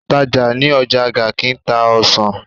Òǹtajà ní ọjà Garki ń ta ọsàn.